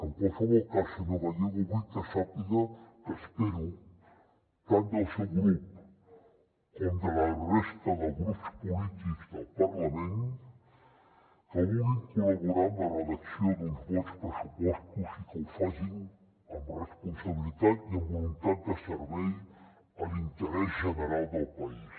en qualsevol cas senyor gallego vull que sàpiga que espero tant del seu grup com de la resta de grups polítics del parlament que vulguin col·laborar en la redacció d’uns bons pressupostos i que ho facin amb responsabilitat i amb voluntat de servei a l’interès general del país